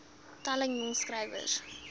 talle jong skrywers